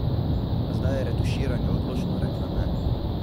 A zdaj je retuširanju odločno rekla ne!